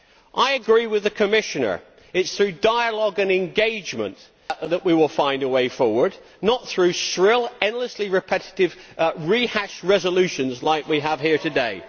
I agree with the Commissioner it is through dialogue and engagement that we will find a way forward, not through shrill, endlessly repetitive, rehashed resolutions, such as the one we have here today.